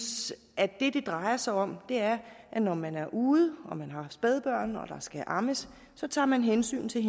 at det det drejer sig om er at når man er ude og man har spædbørn og der skal ammes så tager man hensyn til